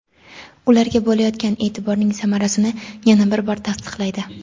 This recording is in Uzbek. ularga bo‘layotgan eʼtiborning samarasini yana bir bor tasdiqlaydi.